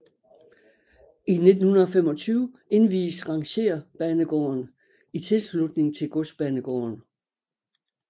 I 1925 indvies rangerbanegården i tilslutning til godsbanegården